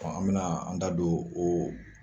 Ɔ an bɛna an da don o